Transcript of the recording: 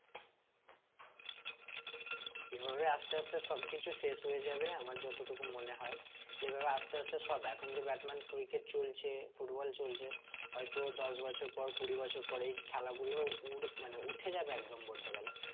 এভাবে আস্তে আস্তে সব কিছু শেষ হয়ে যাবে আমার যতটুকু মনে হয় যেভাবে আস্তে আস্তে সব এখন যে চলছে football চলছে হইতো দশ বছর পর কুড়ি বছর পরে এই খেলা গুলোও উর মানে উঠে যাবে একদম বলতে গেলে